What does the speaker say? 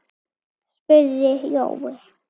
spurði Jói.